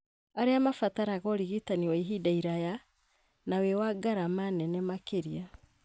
arĩa mabataraga ũrigitani wa ihinda iraya na wĩ na ngarama nene makĩria.